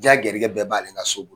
Ya garijigɛ bɛɛ ban ale ka so bolo.